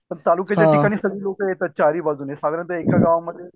पण तालुक्याच्या ठिकाणी सगळी लोक येतात चारी बाजूनी साधारण तर एका गावामध्ये